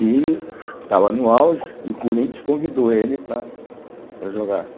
e estava no auge e o Corinthians convidou ele para para jogar.